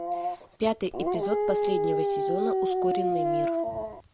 пятый эпизод последнего сезона ускоренный мир